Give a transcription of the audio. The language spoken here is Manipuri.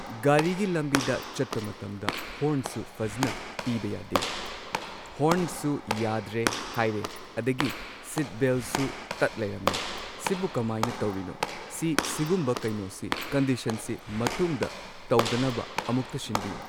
ꯒꯥꯔꯤꯒꯤ ꯂꯝꯕꯤꯗ ꯆꯠꯄ ꯃꯇꯝꯗ ꯍꯣꯔꯟꯁꯨ ꯐꯖꯅ ꯄꯤꯕ ꯌꯥꯗꯦ ꯍꯣꯔꯟꯁꯨ ꯌꯥꯗ꯭ꯔꯦ ꯍꯥꯏꯔꯦ ꯑꯗꯒꯤ ꯁꯤꯠ ꯕꯦꯜꯁꯨ ꯇꯠ ꯂꯩꯔꯝꯃꯦ ꯁꯤꯕꯨ ꯀꯃꯥꯢꯅ ꯇꯧꯔꯤꯅꯣ ꯁꯤ ꯁꯤꯒꯨꯝꯕ ꯀꯩꯅꯣꯁꯤ ꯀꯟꯗꯤꯁꯟꯁꯤ ꯃꯇꯨꯡꯗ ꯇꯧꯗꯅꯕ ꯑꯃꯨꯛꯇ ꯁꯤꯟꯕꯤꯌꯨ